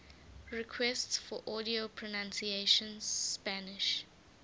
requests for audio pronunciation spanish